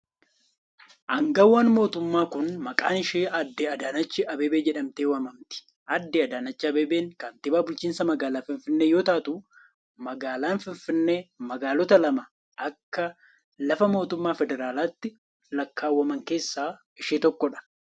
Aangawni mootummaa kun, maqaan ishee aadde adaanach Abeebee jedhamtee waamamti. Aaddee Adaanach Abeebee kantiibaa bulchiinsa magaalaa finfinnee yoo taatu, magaalaan finfinnee magaalota lama akka lafa mootummaa federaalatti lakkaawwaman keessaa ishee tokko dha.